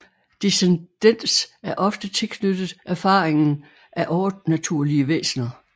Descendens er ofte tilknyttet erfaringen af overnaturlige væsner